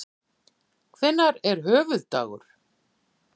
Hvenær er höfuðdagur?